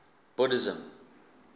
buddhism